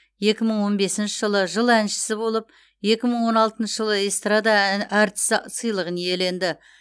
екі мың он бесінші жылы жыл әншісі болып екі мың он алтыншы жылы эстрада ән әртіс сыйлығын иеленді